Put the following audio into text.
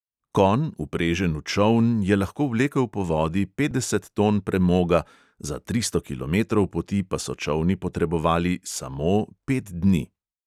Konj, vprežen v čoln, je lahko vlekel po vodi petdeset ton premoga, za tristo kilometrov poti pa so čolni potrebovali "samo" pet dni!